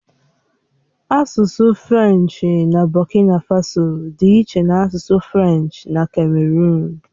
Asụsụ Frenchi na Bokina Faso dị iche na asụsụ Frenchi na kameruụn.